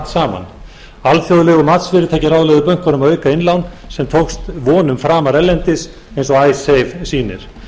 bönkunum að auka innlán sem tókst vonum framar erlendis eins og icesave sýnir og